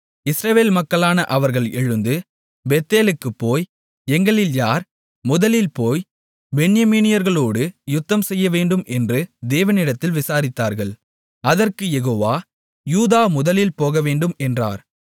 இஸ்ரவேல் மக்களான அவர்கள் எழுந்து பெத்தேலுக்குப் போய் எங்களில் யார் முதலில் போய் பென்யமீனியர்களோடு யுத்தம்செய்யவேண்டும் என்று தேவனிடத்தில் விசாரித்தார்கள் அதற்குக் யெகோவா யூதா முதலில் போகவேண்டும் என்றார்